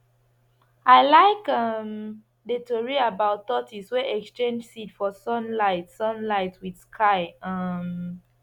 i like um the tori about tortoise wey exchange seed for sunlight sunlight with sky um